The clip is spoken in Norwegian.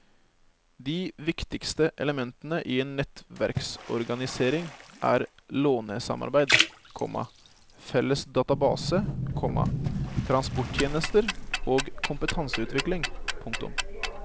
De viktigste elementene i en nettverksorganisering er lånesamarbeid, komma felles database, komma transporttjenester og kompetanseutvikling. punktum